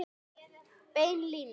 Bein lína